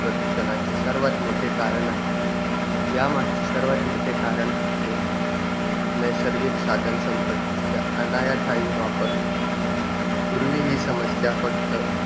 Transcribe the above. प्रदूषणाचे सर्वात मोठे कारण आहे. यामागचे सर्वात मोठे कारण म्हणजे, नैसर्गिक साधनसंपत्तीचा अनाठायी वापर. पूर्वी हि समस्या फक्त